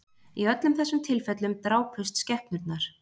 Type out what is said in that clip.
Í öllum þessum tilfellum drápust skepnurnar